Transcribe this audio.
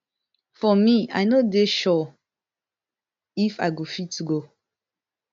for me i no dey sure if i go fit go